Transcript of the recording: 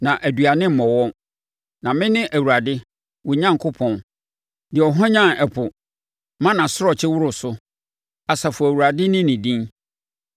Na mene Awurade, wo Onyankopɔn deɛ ɔhwanyane ɛpo, ma nʼasorɔkye woro so. Asafo Awurade, ne ne din.